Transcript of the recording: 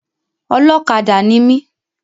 Ọlọ́kadà ni mi.